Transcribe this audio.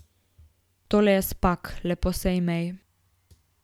Tole je Spak, lepo se imej.